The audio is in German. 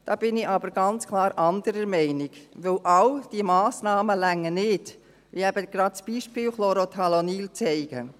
Da bin ich aber ganz klar anderer Meinung, denn all diese Massnahmen reichen nicht, wie eben gerade das Beispiel Chlorothalonil zeigt.